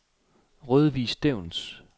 Rødvig Stevns